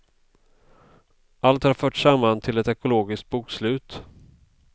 Allt har förts samman till ett ekologiskt bokslut.